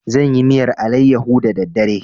Zan yi miyar alayyaho da daddare.